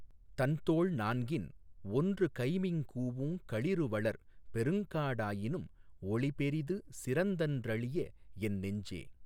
தன்தோள் நான்கின் ஒன்று கைம்மிகூஉங்களிறுவளர் பெருங்காடாயினும் ஒளிபெரிது சிறந்தன்றளிய என் நெஞ்சே.